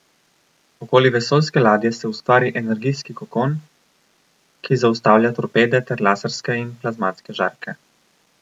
Okoli vesoljske ladje se ustvari energijski kokon, ki zaustavlja torpede ter laserske in plazmatske žarke.